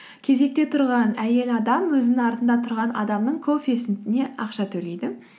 кезекте тұрған әйел адам өзінің артында тұрған адамның кофесіне ақша төлейді